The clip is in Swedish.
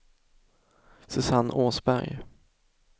Susanne Åsberg